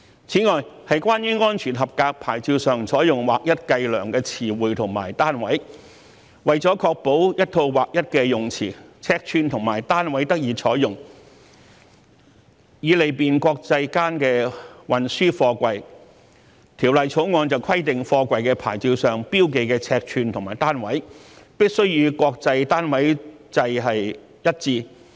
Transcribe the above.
此外，是關於安全合格牌照上採用劃一計量的詞彙和單位。為了確保一套劃一的用詞、尺寸和單位得以採用，以利便國際間運輸貨櫃，《條例草案》規定貨櫃牌照上標記的尺寸和單位，必須與國際單位制一致。